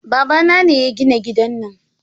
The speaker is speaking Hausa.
Babana ne ya gina gidan nan